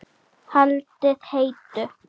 Haldið heitu.